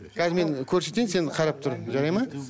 қазір мен көрсетейін сен қарап тұр жарайды ма